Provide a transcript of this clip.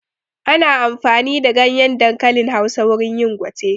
Ana amfani da ganyen dankalin Hausa wurin yin gwate